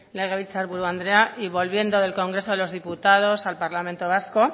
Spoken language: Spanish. legebiltzar buru andrea y volviendo del congreso de los diputados al parlamento vasco